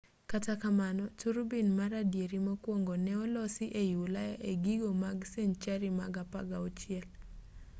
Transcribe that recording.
kata kamano turubin mar adieri mokwongo ne olosi ei ulaya e giko mag senchari mar 16